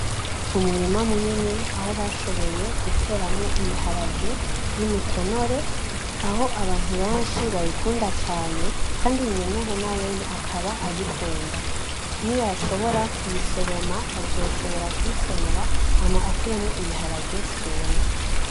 Umurima munini aho bashoboye guteramwo ibiharage vy'imitonore aho abantu benshi bayikunda cane kandi nyeneho nawene akaba ayikunda. Niyashobora kuyisoroma azoshobora kuyitonora hama akuremwo ibiharage vyumye.